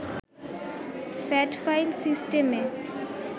fat file সিস্টেমে